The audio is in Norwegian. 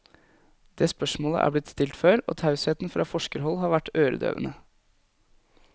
Det spørsmålet er blitt stilt før, og tausheten fra forskerhold har vært øredøvende.